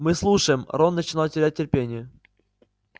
мы слушаем рон начинал терять терпение